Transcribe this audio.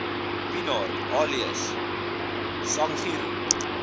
pienaar alias sangiro